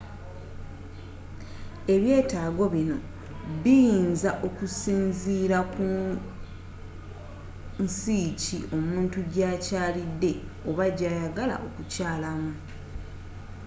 ebyeetago binno biyinza okusinziila ku nsiiki omutu jakyaalidde oba jayagala okukyaalamu